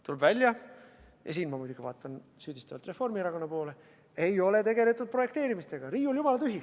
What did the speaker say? Tuleb välja – ja siin vaatan ma süüdistavalt Reformierakonna poole –, et projekteerimisega ei ole tegeldud.